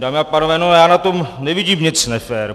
Dámy a pánové, no já na tom nevidím nic nefér.